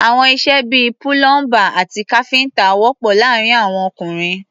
Àwọn iṣẹ́ bí i púlọ́ḿbà àti káfíńtà wọ̀pọ̀ láàárín àwọn ọkùnrin.